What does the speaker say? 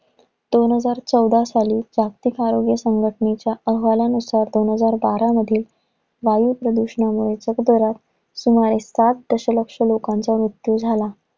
दोन हजार चौदा साली जागतिक आरोग्य संघटनेच्या अहवालानुसार दोन हजार बारा मध्ये वायू प्रदूषणामुळे जगभरात सुमारे पाच दशलक्ष लोकांचा मृत्यू झाला.